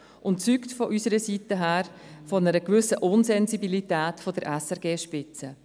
Es zeugt aus unserer Sicht von einer gewissen Insensibilität der SRGSpitze.